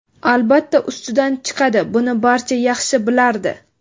albatta ustidan chiqadi — buni barcha yaxshi bilardi.